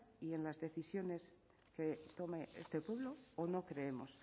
y en las decisiones que tome este pueblo o no creemos